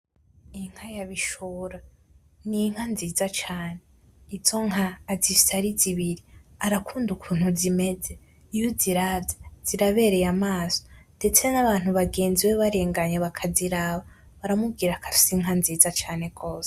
Inka ya Bishora ni inka nziza cane. Izo nka azifise ari zibiri, arakunda ukuntu zimeze. Iyo uziravye, zirabereye amaso, ndetse n’abantu bagenzi we barenganye bakaziraba, baramubwira ko afise inka nziza cane gose.